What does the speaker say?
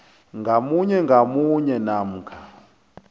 ngamunye ngamunye namkha